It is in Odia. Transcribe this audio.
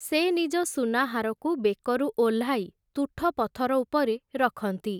ସେ ନିଜ ସୁନାହାରକୁ ବେକରୁ ଓହ୍ଲାଇ, ତୁଠ ପଥର ଉପରେ ରଖନ୍ତି ।